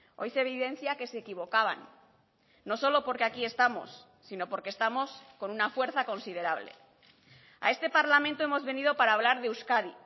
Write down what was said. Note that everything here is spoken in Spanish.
hoy se evidencia que se equivocaban no solo porque aquí estamos sino porque estamos con una fuerza considerable a este parlamento hemos venido para hablar de euskadi